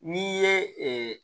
N'i ye